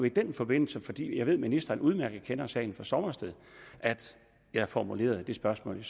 i den forbindelse fordi jeg ved at ministeren udmærket kender sagen fra sommersted at jeg formulerede mit spørgsmål